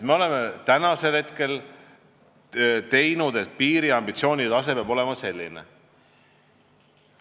Me oleme otsustanud, et ambitsioonide tase peab olema selline.